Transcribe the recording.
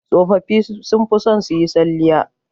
Tsofaffi sun fi son su yi salliya